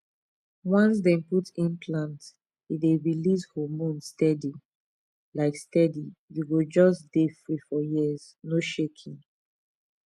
once dem put implant e dey release hormone steady um steady u go just dey free for years no shaking